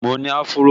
Mo ni áfúró